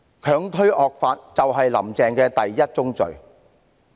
強推惡法，就是"林鄭"的第一宗罪。